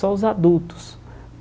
Só os adultos.